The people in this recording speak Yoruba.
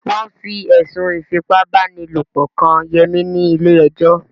Wọ́n fi ẹ̀sùn Ífipá-báni-lòpọ̀ kan Yẹmí ni ilé ẹjọ́